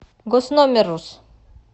госномеррус